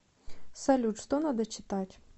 салют что надо читать